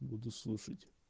буду слушать